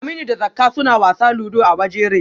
Aminu da Zakka suna wasa ludo a waje rhe